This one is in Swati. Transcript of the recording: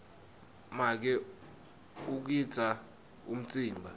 make ugidza umtsimba